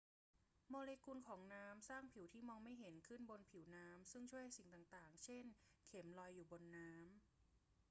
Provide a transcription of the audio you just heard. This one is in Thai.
โมเลกุลของน้ำสร้างผิวที่มองไม่เห็นขึ้นบนผิวน้ำซึ่งช่วยให้สิ่งต่าง ๆ เช่น เข็ม ลอยอยู่บนน้ำ